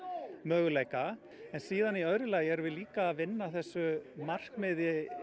möguleika en síðan í öðru lagi erum við líka að vinna að þessu markmiði